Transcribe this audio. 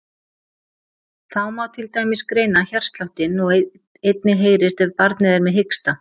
Þá má til dæmis greina hjartsláttinn og einnig heyrist ef barnið er með hiksta.